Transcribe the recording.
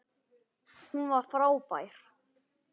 Hún var frábær.